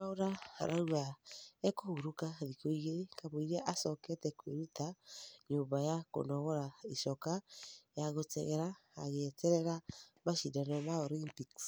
Mwaura arauga ekũhurũka thĩkũ igĩri kamũira acokete kwĩruta nyũmba ya kũnogora icoka ya gĩtengera agĩeterera mashidano ma Olympics